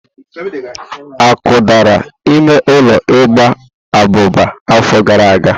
Akụdara ime ụlọ igba abụba afọ gara aga.